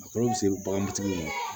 A kɔlɔlɔ bɛ se baganmatigi ma